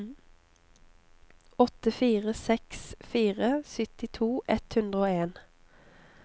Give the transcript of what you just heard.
åtte fire seks fire syttito ett hundre og en